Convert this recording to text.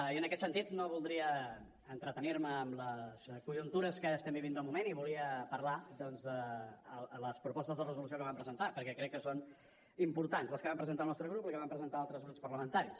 i en aquest sentit no voldria entretenir me en les conjuntures que estem vivint del moment i volia parlar doncs de les propostes de resolució que vam presentar perquè crec que són importants les que vam presentar el nostre grup i les que van presentar altres grups parlamentaris